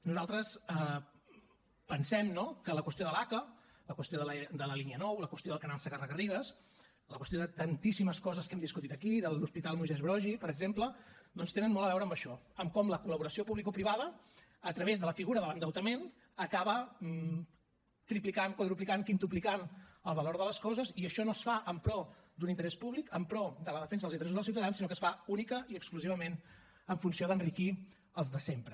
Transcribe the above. nosaltres pensem que la qüestió de l’aca la qüestió de la línia nou la qüestió del canal segarra garrigues la qüestió de tantíssimes coses que hem discutit aquí de l’hospital moisès broggi per exemple doncs tenen molt a veure amb això amb com la col·laboració publicoprivada a través de la figura de l’endeutament acaba triplicant quadruplicant quintuplicant el valor de les coses i això no es fa en pro d’un interès públic en pro de la defensa dels interessos del ciutadans sinó que es fa únicament i exclusivament en funció d’enriquir els de sempre